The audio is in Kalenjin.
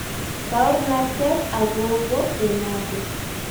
Baornatet akobo Bemado.